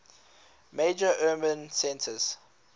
major urban centres